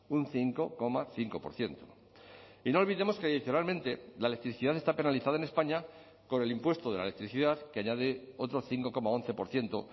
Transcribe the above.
un cinco coma cinco por ciento y no olvidemos que adicionalmente la electricidad está penalizada en españa con el impuesto de la electricidad que añade otro cinco coma once por ciento